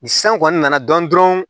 Ni san kɔni nana dɔn dɔrɔn